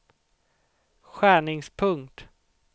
skärningspunkt